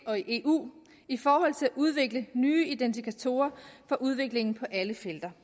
og i eu i forhold til at udvikle nye indikatorer for udviklingen på alle felter